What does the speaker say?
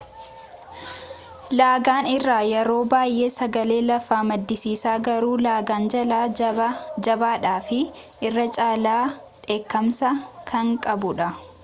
laagaan irraa yeroo baayyee sagalee laafaa maddisiisa garuu laagaan jalaa jabaa dhaa fi irra caala dheekkamsa kan qabudha